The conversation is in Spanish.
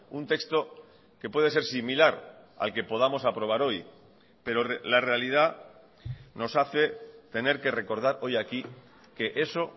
un texto que puede ser similar al que podamos aprobar hoy pero la realidad nos hace tener que recordar hoy aquí que eso